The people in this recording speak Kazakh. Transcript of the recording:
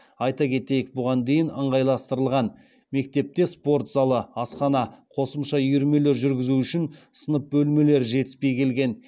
айта кетейік бұған дейін ыңғайластырылған мектепте спорт залы асхана қосымша үйірмелер жүргізу үшін сынып бөлмелері жетіспей келген